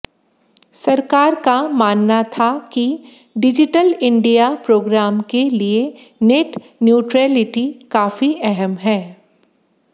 सरकार का मानना था कि डिजिटल इंडिया प्रोग्राम के लिए नेट न्यूट्रेलिटी काफी अहम है